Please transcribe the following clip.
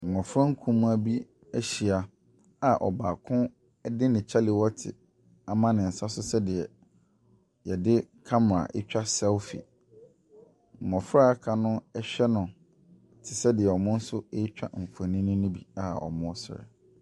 Mmɔfra nkumaa bi ahyia a ɔbaako de ne kyalewote ama ne nsa so sɛdeɛ wɔde camera twa selfie. Mmɔfra a wɔaka no hwɛ no te sɛ deɛ wɔn nso retwa mfonin no bi a wɔresere.